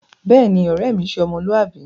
Béèni, ore mi se ́ọmọluwabi